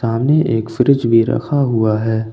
सामने एक फ्रिज भी रखा हुआ हैं।